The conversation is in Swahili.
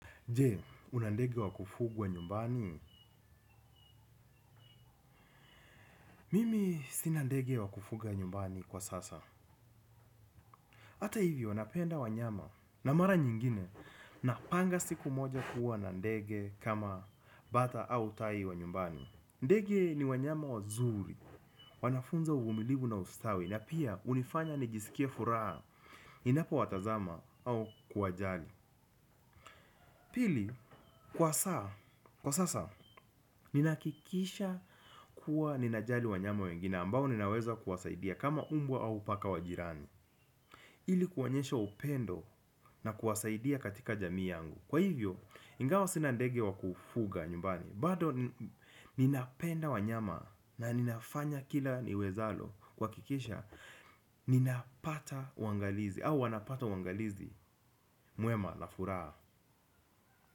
Je, unandege wakufuguwa nyumbani? Mimi sinandege wakufuga nyumbani kwa sasa. Ata hivio napenda wanyama na mara nyingine na panga siku moja kuwa na ndege kama bata au tai wa nyumbani. Ndege ni wanyama wa zuri, wanafunza uvumilivu na ustawi na pia unifanya nijisikie furaha ninapo watazama au kuwajali. Pili, kwa saa, kwa sasa, ninakikisha kuwa ninajali wanyama wengine ambao ninaweza kuwasaidia kama umbwa au paka wajirani ili kuonyesha upendo na kuwasaidia katika jamii yangu kwa hivo ingawa sina ndege wa kufuga nyumbani bado ninapenda wanyama na ni fanya kila liwezalo kwakikisha ninapata wangalizi au wanapata wangalizi muema lafuraa.